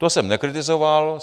To jsem nekritizoval.